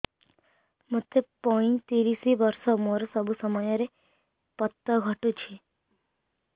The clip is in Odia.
ମୋତେ ପଇଂତିରିଶ ବର୍ଷ ମୋର ସବୁ ସମୟରେ ପତ ଘଟୁଛି